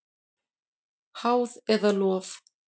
Háð eða lof?